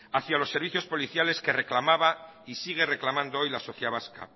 hacia los servicios policiales que reclamaba y sigue reclamando hoy la sociedad vasca